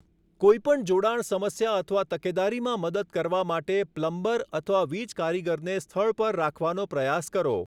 કોઈ પણ જોડાણ સમસ્યા અથવા તકેદારીમાં મદદ કરવા માટે પ્લમ્બર અથવા વીજકારીગરને સ્થળ પર રાખવાનો પ્રયાસ કરો.